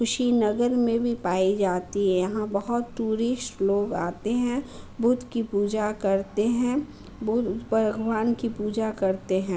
कुशी नगर में भी पाई जाती है। यहाँ बोहत टूरीश लोग आते हैं। बुद्ध की पूजा करते हैं। बुद्ध भगवान की पूजा करते हैं।